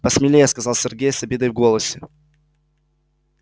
посмелее сказал сергей с обидой в голосе